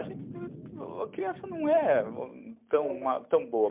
A criança não é tão boba.